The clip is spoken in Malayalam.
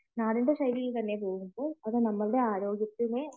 അത് ആരോഗ്യത്തിന്